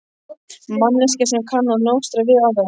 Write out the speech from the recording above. Manneskja sem kann að nostra við aðra.